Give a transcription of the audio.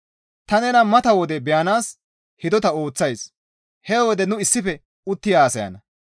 Ta nena mata wode beyanaas hidota ooththays; he wode nu issife utti haasayana.